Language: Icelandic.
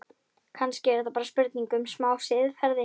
Kannski er þetta bara spurning um smá siðferði?